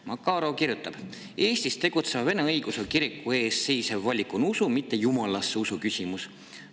Makarov kirjutab: "Eestis tegutseva vene õigeusu kiriku ees seisev valik on usu, mitte jumalasse usu küsimus.